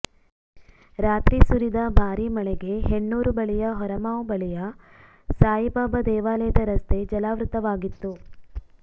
ರಾತ್ರಿ ಸುರಿದ ಭಾರೀ ಮಳೆಗೆ ಹೆಣ್ಣೂರು ಬಳಿಯ ಹೊರಮಾವು ಬಳಿಯ ಸಾಯಿಬಾಬಾ ದೇವಾಲಯದ ರಸ್ತೆ ಜಲಾವೃತವಾಗಿತ್ತು